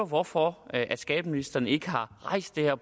hvorfor skatteministeren ikke har rejst det her